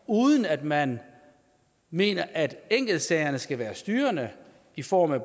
uden at man mener at enkeltsagerne skal være styrende i form af